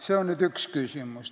See on üks küsimus.